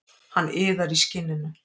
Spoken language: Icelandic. Hann iðar í skinninu.